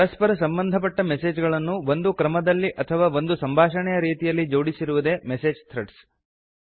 ಪರಸ್ಪರ ಸಂಬಧಪಟ್ಟ ಮೆಸೇಜ್ ಗಳನ್ನು ಒಂದು ಕ್ರಮದಲ್ಲಿ ಅಥವಾ ಒಂದು ಸಂಭಾಷಣೆಯ ರೀತಿಯಲ್ಲಿ ಜೋಡಿಸಿರುವುದೇ ಮೆಸೇಜ್ ಥ್ರೆಡ್ಸ್